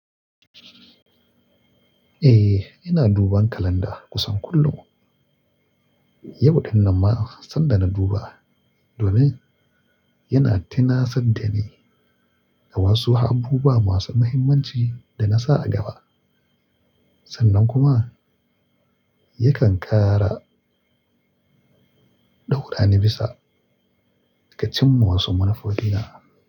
Eh, ina duban kalanda kusan kullum. Yau ɗin nan ma sanda na duba domin yana tunasar da ni da wasu abubuwa masu muhimmanci da na sa a gaba. Sannan kuma yakan ƙara ɗaura ni bisa ga cimma wasu manufofina.